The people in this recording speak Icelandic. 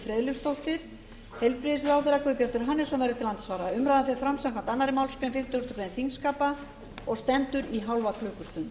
friðleifsdóttir heilbrigðisráðherra guðbjartur hannesson verður til andsvara umræðan fer fram samkvæmt annarri málsgrein fimmtugustu grein þingskapa og stendur í hálfa klukkustund